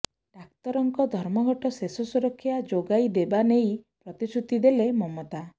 ଡାକ୍ତରଙ୍କ ଧର୍ମଘଟ ଶେଷ ସୁରକ୍ଷା ଯୋଗାଇ ଦେବା ନେଇ ପ୍ରତିଶୃତି ଦେଲେ ମମତା